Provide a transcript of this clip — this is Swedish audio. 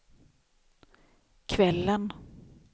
kvällen